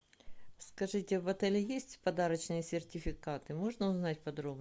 скажите в отеле есть подарочные сертификаты можно узнать подробнее